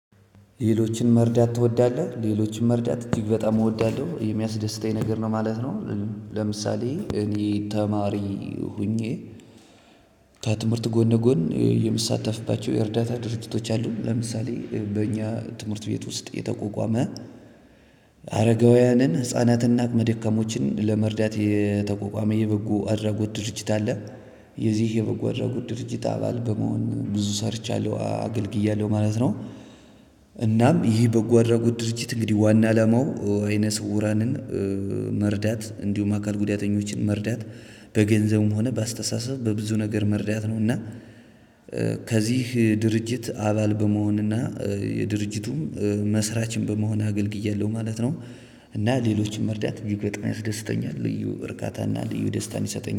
ሌሎችን መርዳት ትወዳለህ ሌሎችን መርዳት እጅግ በጣም እወዳለሁ የሚያስደስተኝ ነገር ነው ማለት ነው። ለምሳሌ እኔ ተማሪ ሆኜ። ከትምህርት ጎን ለጎን የምሳተፍባቸው የእርዳታ ድርጅቶች አሉ ለምሳሌ በእኛ ትምህርት ቤት ውስጥ የተቆቋመ አረጋውያንን ህፃናትና አቅመ ደካሞችን ለመርዳት የተቆቋመ የበጎ አድራጎት ድርጅት አለ። የዚህ የበጎ አድራጎት ድርጅት አባል በመሆን ብዙ ሰርቻለሁ አገልግያለሁ ማለት ነው። እናም ይህ በጎ አድራጎት ድርጅት እንግዲህ ዋና አላማው አይነ ስውራንን መርዳት እንዲሁም አካል ጉዳተኞችን መርዳት በገንዘቡም ሆነ በአስተሳሰብ በብዙ ነገር መርዳት ነው እና። ከዚህ ድርጅት አባል በመሆንና የድርጅቱም መስራችም በመሆን አገልግያለሁ ማለት ነው። እና ሌሎችን መርዳት እጅግ በጣም ያስደስተኛል ልዩ እርካታና ልዩ ደስታን ይሰጠኛል